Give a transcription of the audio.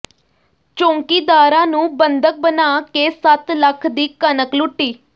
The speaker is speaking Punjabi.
ਚੌਕੀਦਾਰਾਂ ਨੂੰ ਬੰਧਕ ਬਣਾ ਕੇ ਸੱਤ ਲੱਖ ਦੀ ਕਣਕ ਲੁੱਟੀ